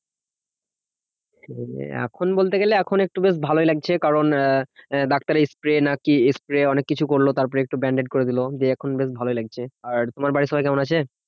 এখন বলতে গেলে, এখন একটু বেশ ভালোই লাগছে, কারণ আহ ডাক্তার spray নাকি spray অনেককিছু করলো। তারপরে একটু bandage করে দিলো। দিয়ে এখন বেশ ভালোই লাগছে। আর তোমার বাড়ির সবাই কেমন আছে?